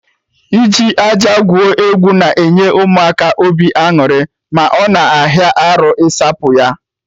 Iji aja gwuo egwu na-enye Ụmụaka obi aṅụrị, ma ọ na ahịa arụ isapụ ya